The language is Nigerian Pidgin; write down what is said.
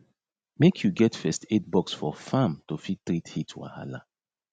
make u get first aid box for farm to fit treat heat wahala